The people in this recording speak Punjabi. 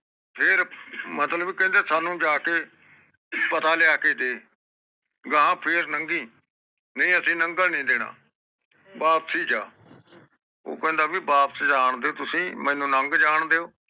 ਫੇਰ ਕਹਿੰਦੇ ਕਹਿੰਦੇ ਸਾਨੂ ਜਾਕੇ ਪਤਾ ਲਿਆਕੇ ਦੇ ਗਾਹ ਫੇਰ ਨੰਗੀ ਨਹੀਂ ਅਸੀਂ ਨੰਗਣ ਨੀ ਦੇਣਾ ਵਾਪਸ ਈ ਉਹ ਕਹਿੰਦਾ ਭਾਈ ਵਾਪਸ ਜਾਨ ਦਿਓ ਤੁਸੀਂ ਮੈਨੂੰ ਲੱਗ ਜਾਨ ਦਿਓ